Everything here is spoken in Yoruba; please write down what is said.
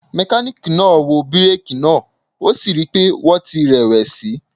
Mekaniki naa wo bireeki naa o si rii pe wọn ti rẹ+wẹsi.